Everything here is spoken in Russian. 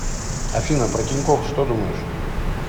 афина про тинькофф что думаешь